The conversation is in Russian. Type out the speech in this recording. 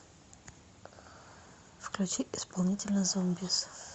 включи исполнителя зомбиз